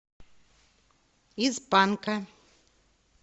из панка